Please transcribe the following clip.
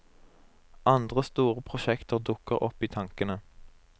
Andre store prosjekter dukker opp i tankene.